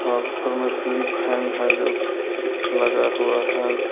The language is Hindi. वहां ऊपर में सिलिंग फैंन है जो लगा हुआ है।